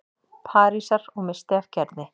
Parísar- og missti af Gerði.